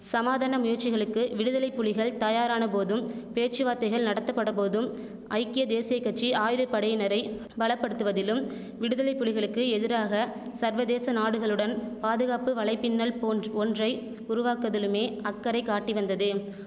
சமாதான முயற்சிகளுக்கு விடுதலைப்புலிகள் தயாரானபோதும் பேச்சுவார்த்தைகள் நடத்தப்பட்டபோதும் ஐக்கிய தேசிய கட்சி ஆயுதப்படையினரைப் பலப்படுத்துவதிலும் விடுதலைப்புலிகளுக்கு எதிராக சர்வதேச நாடுகளுடன் பாதுகாப்பு வலைப்பின்னல் போன்று ஒன்றை உருவாக்குவதிலுமே அக்கறை காட்டிவந்தது